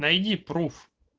найди пруф